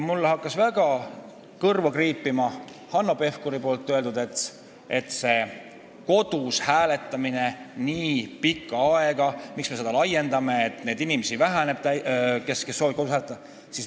Mul jäi kõrva kriipima Hanno Pevkuri selgitus, miks soovitakse kodus hääletamiseks nii pikka aega: et neid inimesi, kes soovivad kodus hääletada, jääb vähemaks.